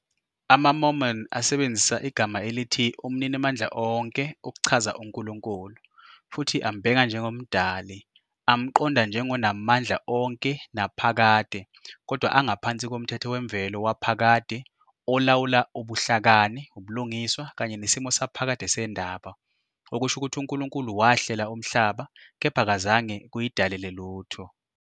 AmaMormon asebenzisa igama elithi "umninimandla onke" ukuchaza uNkulunkulu, futhi ambheka njengoMdali- amqonda njengonamandla onke naphakade kodwa angaphansi komthetho wemvelo waphakade olawula ubuhlakani, ubulungiswa kanye nesimo saphakade sendaba, okusho ukuthi uNkulunkulu wahlela umhlaba kepha akazange kuyidalele lutho.